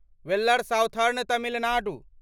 valour southern Tamil Nadu